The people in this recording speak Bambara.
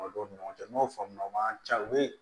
ni ɲɔgɔn cɛ n y'o faamu o man ca o ye